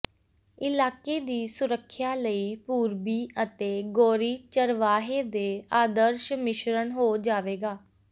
ਇਲਾਕੇ ਦੀ ਸੁਰੱਖਿਆ ਲਈ ਪੂਰਬੀ ਅਤੇ ਗੋਰੀ ਚਰਵਾਹੇ ਦੇ ਆਦਰਸ਼ ਮਿਸ਼ਰਣ ਹੋ ਜਾਵੇਗਾ